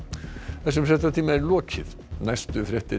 þessum fréttatíma er lokið næstu fréttir